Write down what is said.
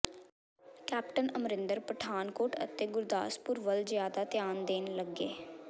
captain Amarinder Pathankot ਅਤੇ ਗੁਰਦਾਸਪੁਰ ਵੱਲ ਜ਼ਿਆਦਾ ਧਿਆਨ ਦੇਣ ਲੱਗੇ